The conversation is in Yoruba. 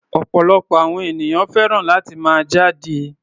Ọ̀pọ̀lọpọ̀ àwọn ènìyàn fẹ́ràn láti máa jáde.